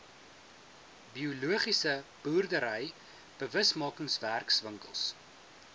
biologiese boerdery bewusmakingswerkswinkels